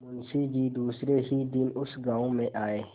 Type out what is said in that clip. मुँशी जी दूसरे ही दिन उस गॉँव में आये